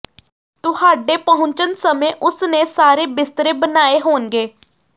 ਤੁਹਾਡੇ ਪਹੁੰਚਣ ਸਮੇਂ ਉਸ ਨੇ ਸਾਰੇ ਬਿਸਤਰੇ ਬਣਾਏ ਹੋਣਗੇ